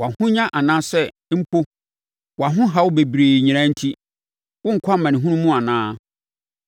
Wʼahonya anaasɛ mpo wʼahohaw bebrebe nyinaa enti, worenkɔ amanehunu mu anaa?